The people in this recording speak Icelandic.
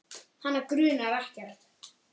Hana grunar ekkert.